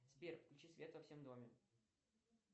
сбер включи свет во всем доме